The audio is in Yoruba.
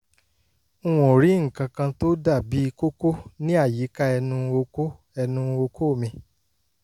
n ò rí nǹkan kan tó dàbí kókó níàyíká ẹnu okó ẹnu okó mi